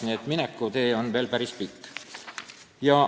Nii et meie minekutee on veel päris pikk.